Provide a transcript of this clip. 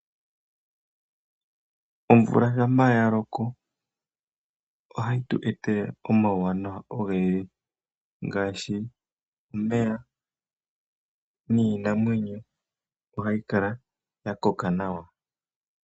Omvula shampa ya loko ohayi tu etela omauwanawa ogendji ngaashi omeya niinamwenyo ohayi kala ya koka nawa.